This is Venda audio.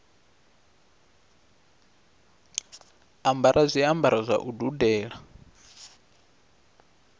ambara zwiambaro zwa u dudela